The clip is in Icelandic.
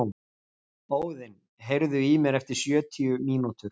Óðinn, heyrðu í mér eftir sjötíu mínútur.